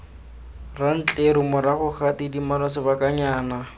rantleru morago ga tidimalo sebakanyana